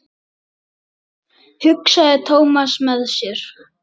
Nemið staðar eða ég skýt!